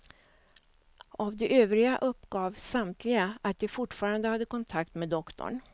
Av de övriga uppgav samtliga att de fortfarande hade kontakt med doktorn.